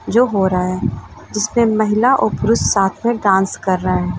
जो हो रहा है जिसपे महिला और पुरुष साथ में डांस कर रहे है।